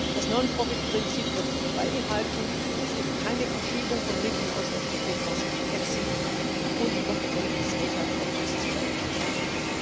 Das Non Profit Prinzip wird beibehalten. Es gibt keine Verschiebung von Mitteln aus den Strukturfonds in den EFSI, und die Kompetenzen des Haushaltsausschusses bleiben erhalten.